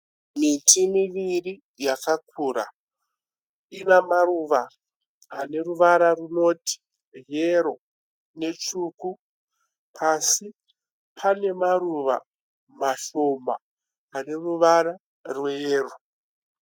Miti miviri yakakura. Ine maruva aneruvara runoti yero netsvuku. Pasi pane maruva mashoma aneruvara rweyero